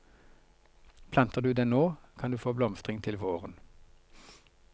Planter du den nå, kan du få blomstring til våren.